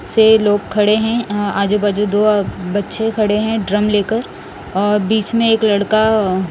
से लोग खड़े हैं आजू बाजू दो बच्चे खड़े हैं ड्रम लेकर और बीच में एक लड़का--